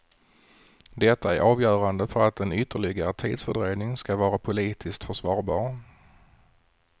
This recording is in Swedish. Detta är avgörande för att en ytterligare tidsfördröjning ska vara politiskt försvarbar.